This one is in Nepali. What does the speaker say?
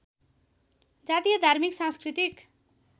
जातीय धार्मिक सांस्कृतिक